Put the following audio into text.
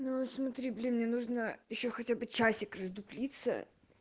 ну смотри блин мне нужно ещё хотя бы часик раздуплиться